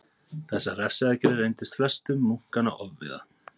Þessar refsiaðgerðir reyndust flestum munkanna ofviða.